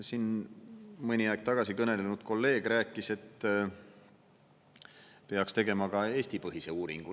Siin mõni aeg tagasi kõnelenud kolleeg rääkis, et peaks tegema ka Eesti-põhise uuringu.